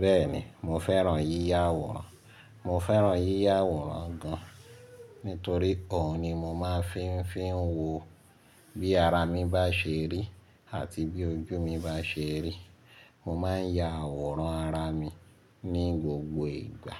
Bẹ́ẹ̀ni, mo fẹ́ràn yíyá àwòrán, mo fẹ́ràn yíyá àwòrán gan-an nítorí ọ̀hun ni mo máa ń fi ń fi ń wo bí ara mi bá ṣe rí àti bí ojú mi bá ṣe rí. Mo máa ń ya àwòrán ara mi ní gbogbo ìgbà